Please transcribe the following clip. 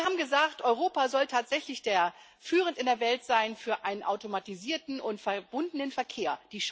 Sie haben gesagt Europa soll tatsächlich führend in der Welt sein für einen automatisierten und verbundenen Verkehr.